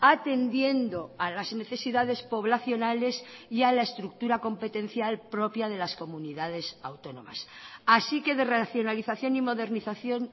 atendiendo a las necesidades poblacionales y a la estructura competencial propia de las comunidades autónomas así que de racionalización y modernización